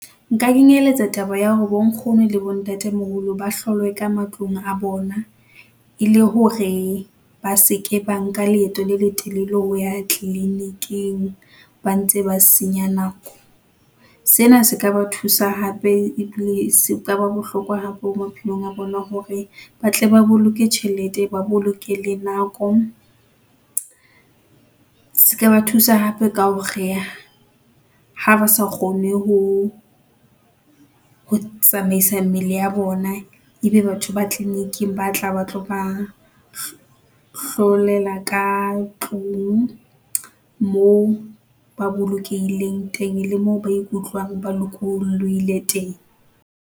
Nka kenyeletsa taba ya hore bo nkgono le bo ntate moholo, ba hlolwe ka matlung a bona, e le hore ba se ke ba nka leeto le le telele ho ya clinic-ing ba ntse ba senya nako. Sena se ka ba thusa hape e dule e se e kaba bohlokwa hape maphelong a rona hore ba tle ba boloke tjhelete, ba boloke le nako. Se ka ba thusa hape ka hore, ha ba sa kgone ho, ho tsamaisa mmele ya bona. Ebe batho ba clinic-ing ba tla ba tlo ba hlolela ka tlung moo ba bolokehileng teng, e le moo ba ikutlwang ba lokolohile teng.